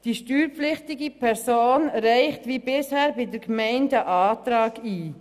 Die steuerpflichtige Person reicht wie bisher bei der Gemeinde einen Antrag ein.